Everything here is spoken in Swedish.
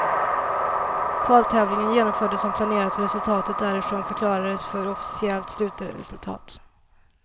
Kvaltävlingen genomfördes som planerat och resultatet därifrån förklarades för officiellt slutresultat.